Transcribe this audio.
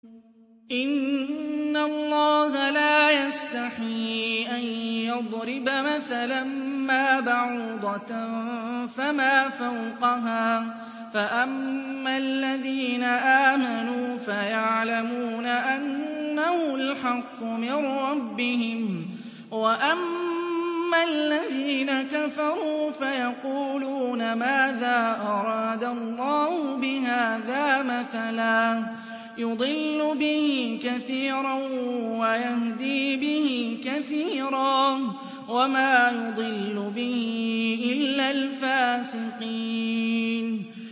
۞ إِنَّ اللَّهَ لَا يَسْتَحْيِي أَن يَضْرِبَ مَثَلًا مَّا بَعُوضَةً فَمَا فَوْقَهَا ۚ فَأَمَّا الَّذِينَ آمَنُوا فَيَعْلَمُونَ أَنَّهُ الْحَقُّ مِن رَّبِّهِمْ ۖ وَأَمَّا الَّذِينَ كَفَرُوا فَيَقُولُونَ مَاذَا أَرَادَ اللَّهُ بِهَٰذَا مَثَلًا ۘ يُضِلُّ بِهِ كَثِيرًا وَيَهْدِي بِهِ كَثِيرًا ۚ وَمَا يُضِلُّ بِهِ إِلَّا الْفَاسِقِينَ